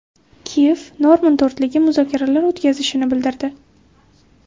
Kiyev Normand to‘rtligi muzokaralar o‘tkazishini bildirdi.